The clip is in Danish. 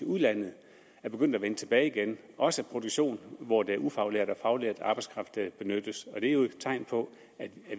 udlandet er begyndt at vende tilbage igen også produktion hvor det er ufaglært og faglært arbejdskraft der benyttes det er jo et tegn på at